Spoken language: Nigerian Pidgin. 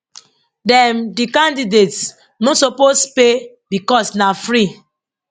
dem di candidates no suppose pay becos na free